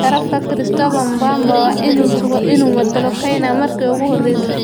Garabka Christopher Mbamba waa inuu sugo inuu matalo Kenya markii ugu horreysay.